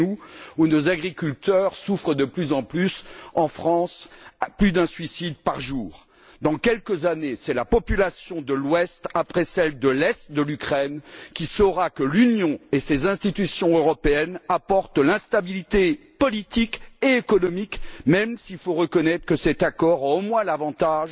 Chez nous, en France, où les agriculteurs souffrent de plus en plus, on dénombre plus d'un suicide par jour. Dans quelques années, c'est la population de l'ouest après celle de l'est de l'Ukraine qui saura que l'Union et ses institutions européennes apportent l'instabilité politique et économique même s'il faut reconnaître que cet accord a, au moins, l'avantage